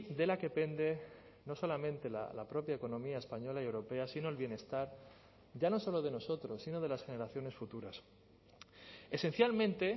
de la que pende no solamente la propia economía española y europea sino el bienestar ya no solo de nosotros sino de las generaciones futuras esencialmente